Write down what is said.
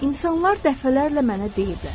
İnsanlar dəfələrlə mənə deyiblər.